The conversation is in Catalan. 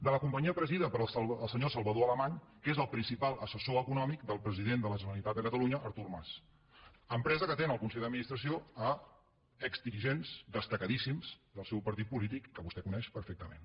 de la companyia presidida pel senyor salvador alemany que és el principal assessor econòmic del president de la generalitat de catalunya artur mas empresa que té en el consell d’administració exdirigents destacadíssims del seu partit polític que vostè coneix perfectament